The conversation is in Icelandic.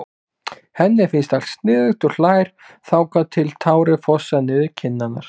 Henni finnst allt sniðugt og hlær þangað til tárin fossa niður kinnarnar.